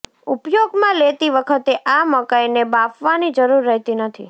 ઉપયોગમાં લેતી વખતે આ મકાઇને બાફવાની જરૂર રહેતી નથી